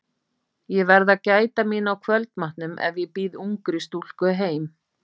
Ég verð að gæta mín á kvöldmatnum ef ég býð ungri stúlku heim.